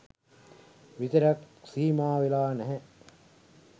විතරක් සීමාවෙලා නැහැ.